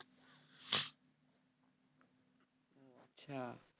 আচ্ছা